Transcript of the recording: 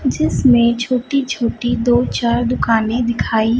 जिसमें छोटी छोटी दो चार दुकाने दिखाई--